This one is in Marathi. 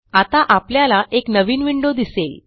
आता आपल्याला एक नवीन विंडो दिसेल